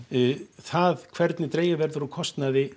það hvernig dregið verður úr kostnaði